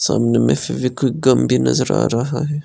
सामने मे Fevikwik gum भी नजर आ रहा--